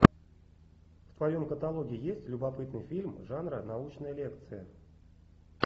в твоем каталоге есть любопытный фильм жанра научная лекция